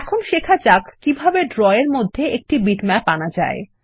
এখন শেখা যাক কিভাবে ড্র এর মধ্যে একটি বিটম্যাপ আনা যায়